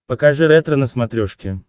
покажи ретро на смотрешке